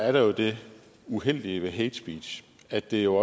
er det uheldige ved hate speech at det jo